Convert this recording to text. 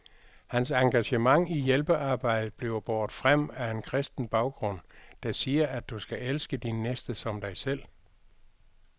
Hans engagement i hjælpearbejdet bliver båret frem af en kristen baggrund, der siger, at du skal elske din næste som dig selv.